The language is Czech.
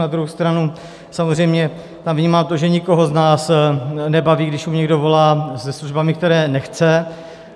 Na druhou stranu samozřejmě tam vnímám to, že nikoho z nás nebaví, když mu někdo volá se službami, které nechce.